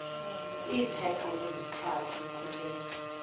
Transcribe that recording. kwiphepha lesithathu kule